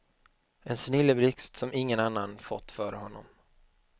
En snilleblixt som ingen annan fått före honom.